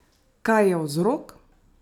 Kaj je vzrok?